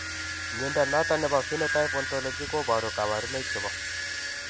Mnyondo noton nebo Phenotype Ontology koboru kabarunaik chebo